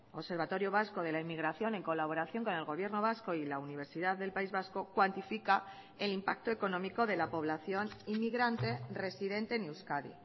observatorio vasco de la inmigración en colaboración con el gobierno vasco y la universidad del país vasco cuantifica el impacto económico de la población inmigrante residente en euskadi